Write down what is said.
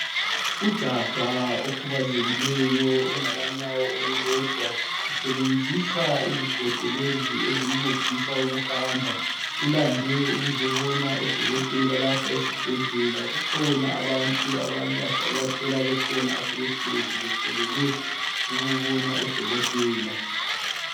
Ujaha okhubazekileyo ongela nyawo olulodwa usebenzisa izigodo ezimncedisa ukuhamba ulamde ukuzobona udokotela lapha esibhedlela kukhona abantu asebehlezi befolele ukubona udokotela